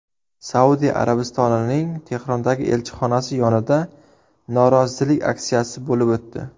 Saudiya Arabistonining Tehrondagi elchixonasi yonida norozilik aksiyasi bo‘lib o‘tdi.